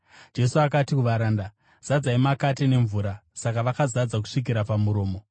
Jesu akati kuvaranda, “Zadzai makate nemvura.” Saka vakaazadza kusvikira pamuromo.